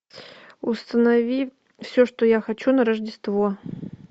установи все что я хочу на рождество